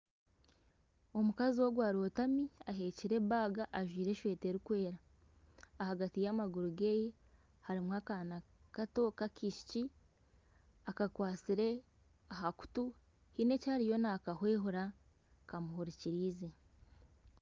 Omukazi ogu arotami aheekire ebaga ajwaire esweeta erikwera ahagati y'amaguru geeye harimu akaana kato k'akaishiki akakwatsire aha kutu haine eki ariyo nakahwihura kamuhurikirize.